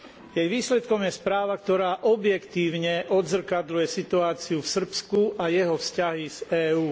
Jej výsledkom je správa, ktorá objektívne odzrkadľuje situáciu v Srbsku a jeho vzťahy s EÚ.